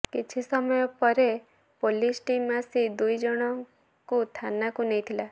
କିଛି ସମୟ ପରେ ପୋଲିସ ଟିମ୍ ଆସି ଦୁଇ ଜଣଙ୍କୁ ଥାନାକୁ ନେଇଥିଲା